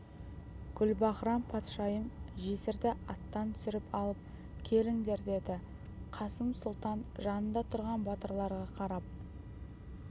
гүлбаһрам-патшайым жесірді аттан түсіріп алып келіңдер деді қасым сұлтан жанында тұрған батырларға қарап